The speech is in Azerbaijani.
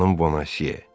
Xanım Bonacieux!